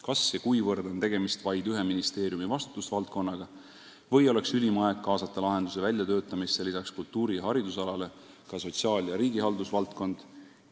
Kas ja kuivõrd on tegemist vaid ühe ministeeriumi vastutusvaldkonnaga või oleks ülim aeg kaasata lahenduse väljatöötamisse lisaks kultuuri- ja haridusalale ka sotsiaal- ja riigihaldusvaldkond?